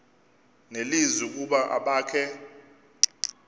nelizwi ukuba abakhe